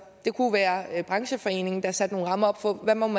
kunne være brancheforeningen der satte nogle rammer op for hvad man